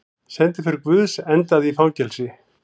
Sendiför guðs endaði í fangelsi